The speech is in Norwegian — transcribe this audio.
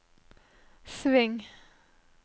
sving